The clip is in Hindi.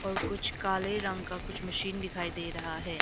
और कुछ काले रंग का कुछ मशीन दिखाई दे रहा है।